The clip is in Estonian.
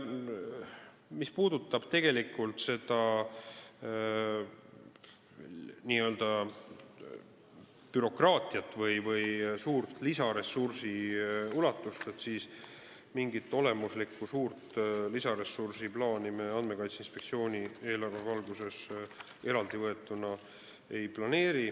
Mis puudutab seda n-ö bürokraatiat või lisaressursi ulatust, siis mingit olemuslikku suurt lisaressurssi me Andmekaitse Inspektsiooni eelarve valguses eraldi võetuna ei planeeri.